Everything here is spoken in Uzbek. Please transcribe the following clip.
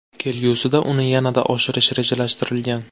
Kelgusida uni yanada oshirish rejalashtirilgan.